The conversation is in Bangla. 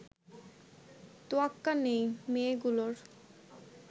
তোয়াক্কা নেই মেয়েগুলোর